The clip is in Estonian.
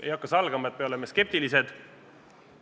Ei hakka salgama, et me oleme skeptilised.